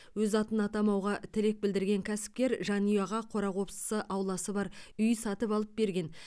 өз атын атамауға тілек білдірген кәсіпкер жанұяға қора қопсысы ауласы бар үй сатып алып берген